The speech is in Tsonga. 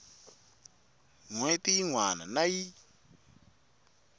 hweti yin wana na yin